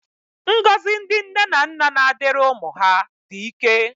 Ngọzi ndị nne na nna na-adịrị ụmụ ha dị ike